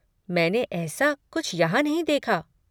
मैंने ऐसा कुछ यहाँ नहीं देखा।